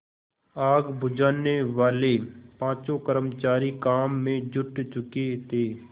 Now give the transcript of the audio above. आग बुझानेवाले पाँचों कर्मचारी काम में जुट चुके थे